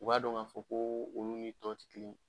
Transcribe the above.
U b'a dɔn ŋ'a fɔ koo olu ni tɔw ti kelen.